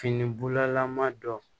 Fini bulalama dɔ